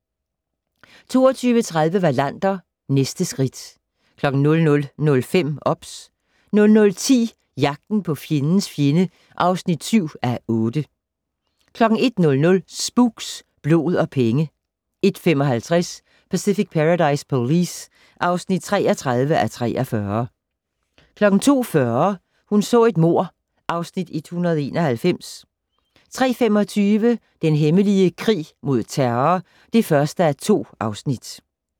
22:30: Wallander, næste skridt 00:05: OBS 00:10: Jagten på fjendens fjende (7:8) 01:00: Spooks: Blod og penge 01:55: Pacific Paradise Police (33:43) 02:40: Hun så et mord (Afs. 191) 03:25: Den hemmelige krig mod terror (1:2)